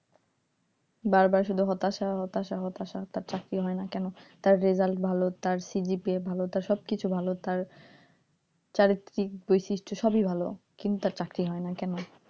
বার বার শুধু হতাশা হতাশা হতাশা তার চাকরি হয়না কেন result ভালো তার CGPA ভালো তার সবকিছু ভালো তার চারিত্রিক বৈশিষ্ট সব ই ভালো কিন্তু তার চাকরি হয় না কেন,